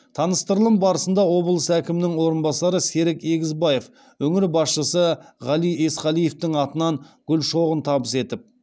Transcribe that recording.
таныстырылым барысында облыс әкімінің орынбасары серік егізбаев өңір басшысы ғали есқалиевтің атынан гүл шоғын табыс етіп